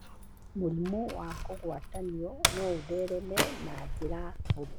Mũrimũ wa kũgwatanio no ũthereme na njĩra hũthũ.